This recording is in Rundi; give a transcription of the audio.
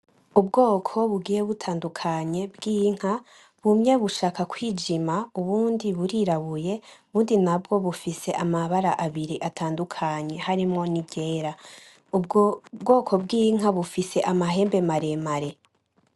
Ubwoko bugiye butandukanye bw'inka, bumwe bushaka kw'ijima ubundi burirabuye ubundi nabwo bufise amabara abiri atandukanye harimwo ni ryera.